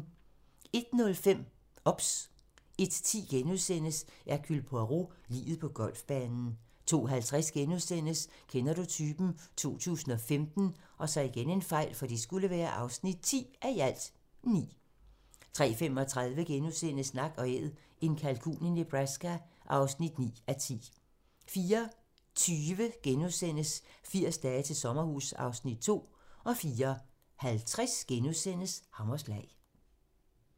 01:05: OBS 01:10: Hercule Poirot: Liget på golfbanen * 02:50: Kender du typen? 2015 (10:9)* 03:35: Nak & Æd - en kalkun i Nebraska (9:10)* 04:20: 80 dage til sommerhus (Afs. 2)* 04:50: Hammerslag *